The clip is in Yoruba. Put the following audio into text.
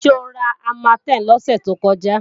Ṣé o ra Armatem lọ́sẹ̀ tó kọjá?